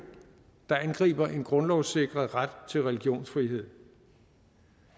der angriber en grundlovssikret ret til religionsfrihed